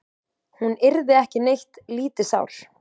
Hún yrði ekki neitt lítið sár.